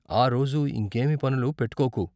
ఆ రోజు ఇంకేమీ పనులు పెట్టుకోకు.